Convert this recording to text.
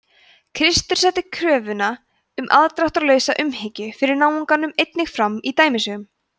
kristur setti kröfuna um afdráttarlausa umhyggju fyrir náunganum einnig fram í dæmisögum